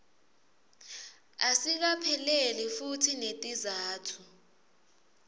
asikapheleli futsi netizatfu